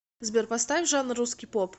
сбер поставь жанр русский поп